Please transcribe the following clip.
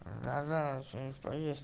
да да че нибудь повесь